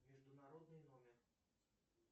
международный номер